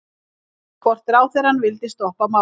Hvort ráðherrann vildi stoppa málið?